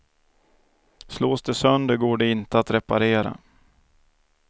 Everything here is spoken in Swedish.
Slås det sönder går det inte att reparera.